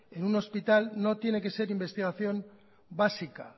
en un hospital no tiene que ser investigación básica